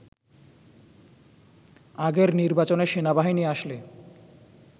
আগের নির্বাচনে সেনাবাহিনী আসলে